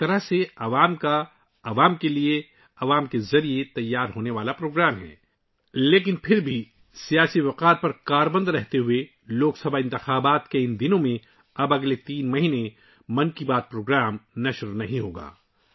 ایک طرح سے یہ عوام کا، عوام کے لیے اور عوام کے ذریعے تیار ہونے والا پروگرام ہے لیکن پھر بھی، سیاسی روایات پر عمل کرتے ہوئے ، لوک سبھا انتخابات کے ان دنوں میں 'من کی بات' اب اگلے تین ماہ تک نشر نہیں ہوگی